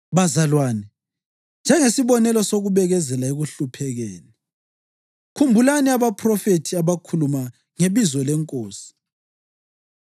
Bazalwane, njengesibonelo sokubekezela ekuhluphekeni, khumbulani abaphrofethi abakhuluma ngebizo leNkosi.